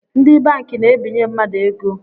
Ndi banki na-ebinye mmadụ ego